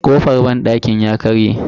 Kofar banɗakin ya karye.